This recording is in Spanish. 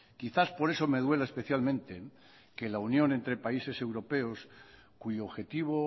quizás por eso me duela especialmente que la unión entre países europeos cuyo objetivo